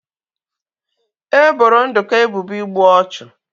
E boro Nduka ebubo igbu ọchụ